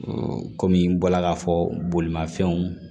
kɔmi n bɔla k'a fɔ bolimafɛnw